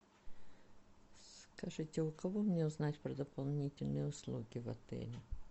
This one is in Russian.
скажите у кого мне узнать про дополнительные услуги в отеле